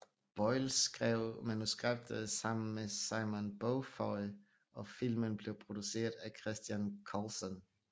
Boyle skrev manuskriptet sammen med Simon Beaufoy og filmen blev produceret af Christian Colson